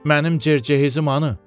Mənim cer-cehizim hanı?